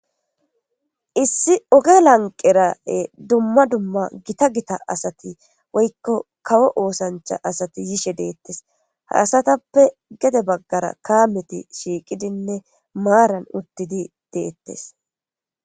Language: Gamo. issi oge lanqere dumma dumma gita gita asati woykko kawo oosancha asati yishe deettes ha asatappe gede baggara kaameti shiiqidinne maaran uttidi deettes